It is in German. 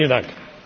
Vielen Dank!